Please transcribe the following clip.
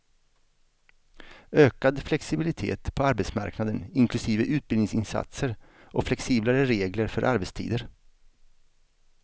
Ökad flexibilitet på arbetsmarknaden inklusive utbildningsinsatser och flexiblare regler för arbetstider.